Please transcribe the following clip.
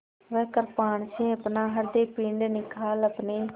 वह कृपाण से अपना हृदयपिंड निकाल अपने